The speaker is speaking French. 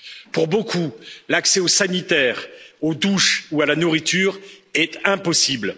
Pour beaucoup, l'accès aux sanitaires, aux douches ou à la nourriture est impossible.